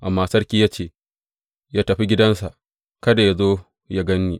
Amma sarki ya ce, Yă tafi gidansa; kada yă zo yă gan ni.